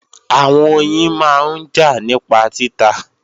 Àwọn oyin máa ń jà nípa títa